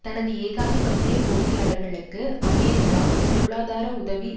தனது ஏகாதிபத்திய போட்டியாளர்களுக்கு அமெரிக்கா பொருளாதார உதவி